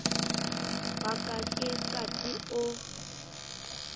wa ka ke qati o